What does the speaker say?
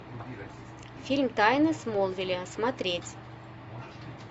фильм тайны смолвиля смотреть